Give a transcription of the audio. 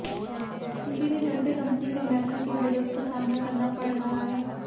इसी के चलते कंपनी को अमेरिका के विरोध का सामना करना पड़ रहा है